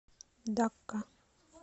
дакка